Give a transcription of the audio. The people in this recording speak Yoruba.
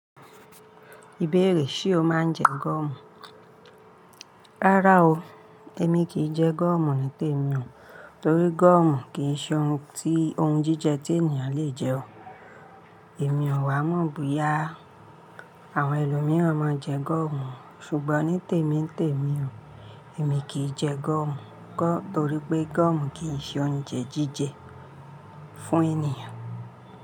Ìbéèrè: Ṣé o máa ń jẹ gọ́mù? Rárá o, èmi kì í jẹ gọ́mù ní tèmi ò, torí gọ́mù kì í ṣe ohun ti oun jíjẹ tí ènìyàn le jẹ ọ. Èmi ò wá mọ̀ bóyá àwọn ẹlòmíràn máa ń jẹ gọ́mù, ṣùgbọ́n ní tèmi n tèmi o, èmi kì í jẹ gọ́mù torí pé gọ́mù kì í ṣe oúnjẹ jíjẹ fún ènìyàn.